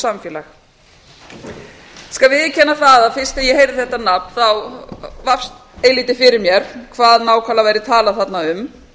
samfélag ég skal viðurkenna að um leið og ég heyrði þetta nafn þá lýst eilítið fyrir mér hvað nákvæmlega væri talað þarna um